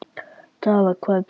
Dara, hvar er dótið mitt?